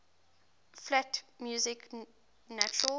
flat music natural